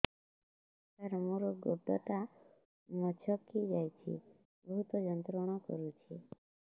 ସାର ମୋର ଗୋଡ ଟା ମଛକି ଯାଇଛି ବହୁତ ଯନ୍ତ୍ରଣା କରୁଛି